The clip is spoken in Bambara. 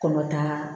Kɔnɔtan